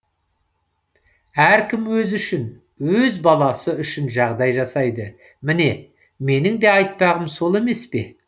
әркім өзі үшін өз баласы үшін жағдай жасайды міне менің де айтпағым сол емес пе